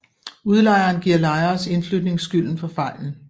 Udlejeren giver lejeres indflytning skylden for fejlen